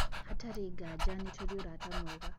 " Hatarĩ nganja nĩ tũrĩ ũrata mwega.